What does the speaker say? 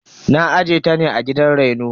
Na aje ta ne a gidan reno.